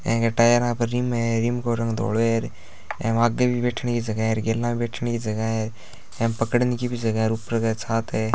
N K टायरा पे rim है रिम को रंग धोलो हेर एव आगे भी बैठने की जगह है गेला में भी बैठने की जगह है एम पकड़न की भी जगह है ऊपर एक छात है।